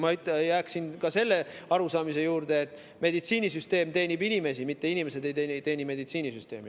Ma jääksin ka selle arusaamise juurde, et meditsiinisüsteem teenib inimesi, mitte inimesed ei teeni meditsiinisüsteemi.